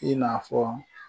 I n'a fɔ